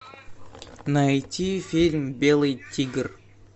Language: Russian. найти фильм белый тигр